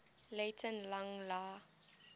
latin lang la